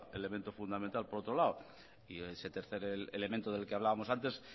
elemento fundamental por otro lado y ese tercer elemento del que hablábamos antes